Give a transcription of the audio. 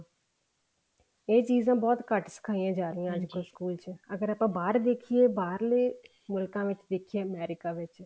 ਇਹ ਚੀਜ਼ਾਂ ਬਹੁਤ ਘੱਟ ਸਿਖਾਈਆਂ ਜਾ ਰਹੀਆਂ ਨੇ ਸਕੂਲ ਚ ਅਗਰ ਆਪਾਂ ਬਾਹਰ ਦੇਖੀਏ ਬਾਹਰਲੇ ਮੁਲਕਾਂ ਵਿੱਚ ਦੇਖੀਏ America ਵਿੱਚ